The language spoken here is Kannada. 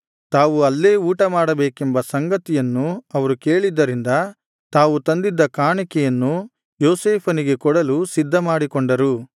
ತಾವು ಅಲ್ಲೇ ಊಟ ಮಾಡಬೇಕೆಂಬ ಸಂಗತಿಯನ್ನು ಅವರು ಕೇಳಿದ್ದರಿಂದ ತಾವು ತಂದಿದ್ದ ಕಾಣಿಕೆಯನ್ನು ಯೋಸೇಫನಿಗೆ ಕೊಡಲು ಸಿದ್ಧಮಾಡಿಕೊಂಡರು